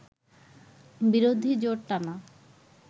বিরোধী জোট টানা